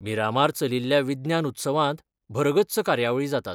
मिरामार चलिल्ल्या विज्ञान उत्सवांत भरगच्च कार्यावळी जातात.